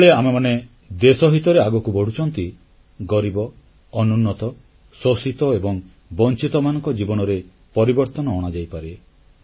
ଯେତେବେଳେ ଆମେମାନେ ଦେଶ ହିତରେ ଆଗକୁ ବଢ଼ୁଛୁ ଗରିବ ଅନୁନ୍ନତ ଶୋଷିତ ଏବଂ ବଂଚିତମାନଙ୍କ ଜୀବନରେ ପରିବର୍ତ୍ତନ ଅଣାଯାଇପାରେ